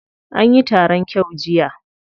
Anyi taron kyau jiya.